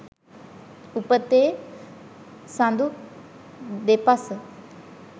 උපතේ සඳු දෙපස